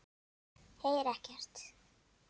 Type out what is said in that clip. Heyri ekkert.